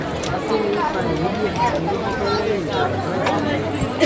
kini o fa eebi ati orififo lẹhin jamba isale ikun